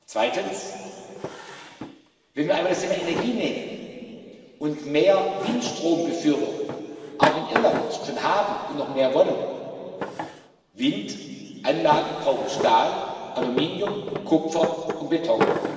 Zweitens Wenn wir einmal das Thema Energie nehmen und mehr Windstrom befürworten auch in Irland schon haben und noch mehr wollen Windanlagen brauchen Stahl, Aluminium, Kupfer und Beton.